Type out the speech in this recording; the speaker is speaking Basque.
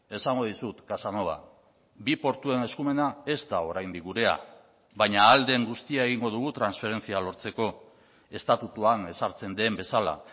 esango dizut casanova bi portuen eskumena ez da oraindik gurea baina ahal den guztia egingo dugu transferentzia lortzeko estatutuan ezartzen den bezala